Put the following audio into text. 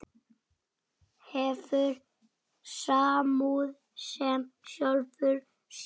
Hefur samúð með sjálfum sér.